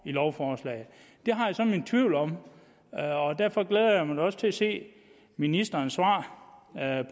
lovforslaget det har jeg så mine tvivl om derfor glæder jeg mig også til at se ministerens svar